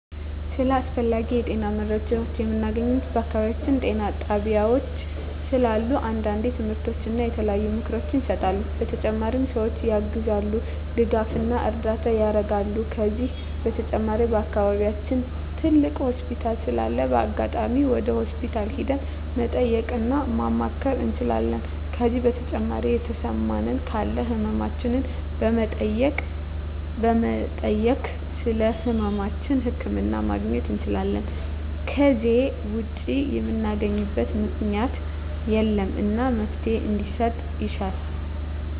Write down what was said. ስለ አስፈላጊ የጤና መረጃዎችን ምናገኘው በአካባቢያችን ጤና ጣቤያዎች ስላሉ አንዳንዴ ትምህርቶች እና የተለያዩ ምክሮች ይሰጣሉ በተጨማሪ ሰዎችን ያግዛሉ ድጋፍና እርዳታ ያረጋሉ ከዚህ በተጨማሪ በአከባቢያችን ትልቅ ሆስፒታል ስላለ በአጋጣሚ ወደ ሆስፒታል ሄደን መጠየቅ እና ማማከር እንችላለን ከዜ በተጨማሪ የተሰማን ካለ ህመማችን በመጠየክ ስለህመማችን ህክምና ማግኘት እንችላለን ከዜ ውጭ ምናገኝበት ምክኛት የለም እና መፍትሔ እንዲሰጥ እሻለሁ